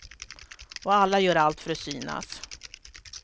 Och alla gör allt för att synas.